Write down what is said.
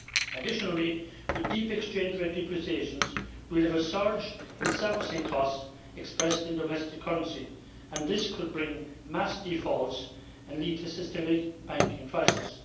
Additionally, with deep exchange rate depreciations, we have a surge in servicing costs expressed in domestic currency, and this could bring mass defaults and lead to a systemic banking crisis.